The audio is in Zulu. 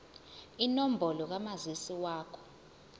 inombolo kamazisi wakho